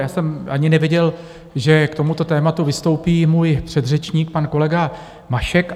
Já jsem ani nevěděl, že k tomuto tématu vystoupí můj předřečník, pan kolega Mašek.